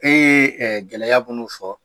E ye gɛlɛya minnu fɔ